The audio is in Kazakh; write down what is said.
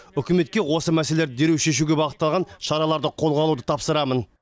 үкіметке осы мәселелерді дереу шешуге бағытталған шараларды қолға алуды тапсырамын